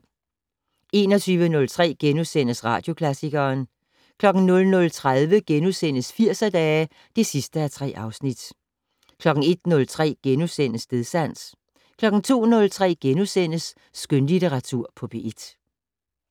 21:03: Radioklassikeren * 00:30: Firserdage (3:3)* 01:03: Stedsans * 02:03: Skønlitteratur på P1 *